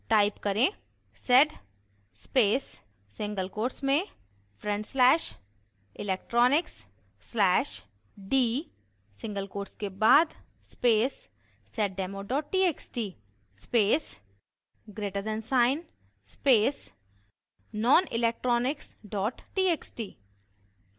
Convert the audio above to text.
type: